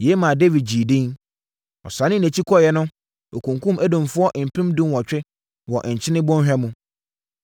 Yei maa Dawid gyee edin. Ɔsane nʼakyi kɔeɛ no, ɔkunkumm Edomfoɔ mpem dunwɔtwe wɔ Nkyene Bɔnhwa mu.